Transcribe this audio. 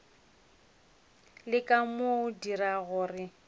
leka go mo dira gore